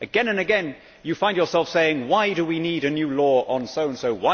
Again and again you find yourself saying, why do we need a new law on so and so?